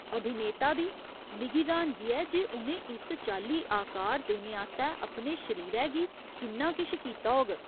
अभिनेता बी, मिगी र्‌हानगी ऐ जे उ'नें इस चाल्ली आकार देने आस्तै अपने शरीरै गी किन्ना किश कीता होग।